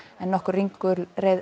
nokkur ringulreið